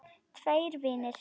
Tveir vinir